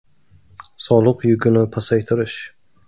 Soliq yukini pasaytirish.